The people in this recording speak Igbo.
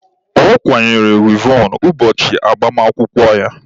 Ọ kwanyere wivọn ụbọchị agbamakwụkwọ ya.